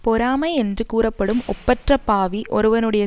பொறாமை என்று கூறப்படும் ஒப்பற்ற பாவி ஒருவனுடைய